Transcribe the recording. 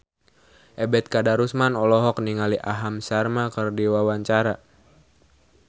Ebet Kadarusman olohok ningali Aham Sharma keur diwawancara